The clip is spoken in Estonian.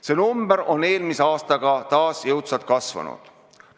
See number on eelmise aastaga taas jõudsalt kasvanud.